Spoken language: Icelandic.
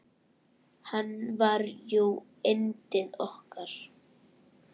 Hann var jú yndið okkar.